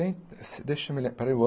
deixa eu me lem espera aí o ano